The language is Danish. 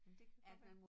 Men det kan godt være